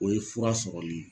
O ye fura sɔrɔli